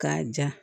K'a ja